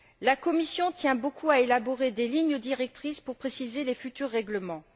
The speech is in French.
La Commission tient beaucoup à élaborer des lignes directrices pour préciser les futurs règlements.